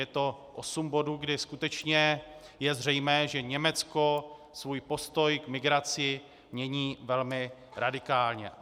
Je to osm bodů, kdy skutečně je zřejmé, že Německo svůj postoj k migraci mění velmi radikálně.